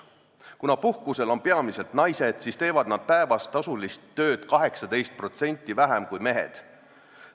Kuna puhkusel on peamiselt naised, siis teevad nad päevas tasulist tööd 18% vähem kui mehed.